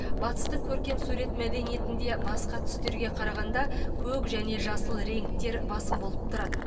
батыстың көркем сурет мәдениетінде басқа түстерге қарағанда көк және жасыл реңктер басым болып тұрады